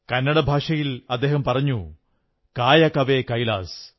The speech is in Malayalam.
കന്നട ഭാഷയിൽ അദ്ദേഹം പറഞ്ഞു കായ കവേ കൈലാസ്